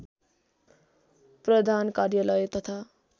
प्रधान कार्यालय तथा